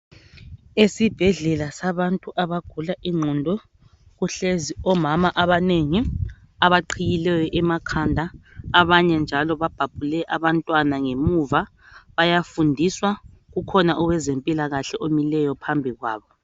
Esibhedlela sabantu abagula ingqondo kuhlezi omama abanengi abaqhiyileyo emakhanda abanye njalo babhabhule abantwana ngemuva bayafundiswa ukhona owezempilakahle omileyo phambi kwabo .